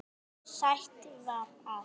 Sætt var það.